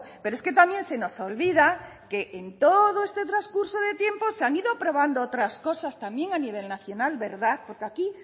pero es que también se nos olvida que en todo este transcurso de tiempo se han ido aprobando otras cosas también a nivel nacional verdad porque aquí